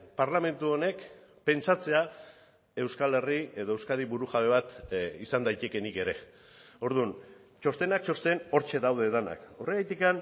parlamentu honek pentsatzea euskal herri edo euskadi burujabe bat izan daitekeenik ere orduan txostenak txosten hortxe daude denak horregatik